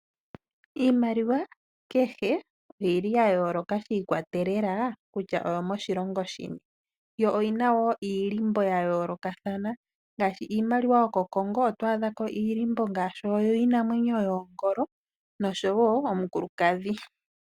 Iimaliwa kehe oyili yayooloka shiikwatelela kutya oyomoshilongo shini, yo oyina iilimbo yayoolokathana ngaashi iimaliwa yoko Congo oto adhako iilimbo ngaashi oyiinamwenyo yongolo nosho wo omukulukadhi.